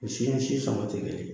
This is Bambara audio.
Sin ɲɛsi sabatilen